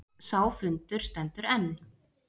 Sá fundur stendur enn.